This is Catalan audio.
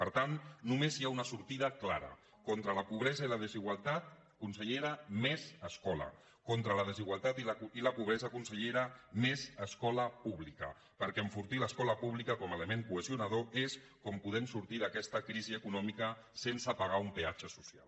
per tant només hi ha un sortida clara contra la po·bresa i la desigualtat consellera més escola contra la desigualtat i la pobresa consellera més escola pú·blica perquè enfortint l’escola pública com a element cohesionador és com podem sortir d’aquesta crisi eco·nòmica sense pagar un peatge social